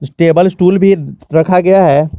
Table stool भी रखा गया है।